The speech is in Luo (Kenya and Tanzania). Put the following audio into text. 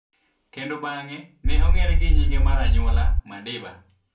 kendo bang'e ne ong'ere gi nyinge mar anyuola, Madiba.